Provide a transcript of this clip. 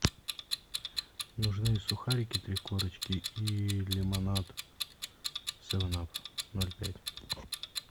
нужны сухарики три корочки и лимонад севен ап ноль пять